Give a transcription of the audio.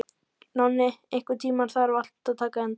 Nonni, einhvern tímann þarf allt að taka enda.